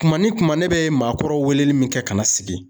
Kuma ni kuma ne bɛ maakɔrɔw wele ni min kɛ ka na sigi,